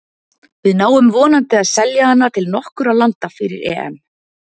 Við náum vonandi að selja hana til nokkurra landa fyrir EM.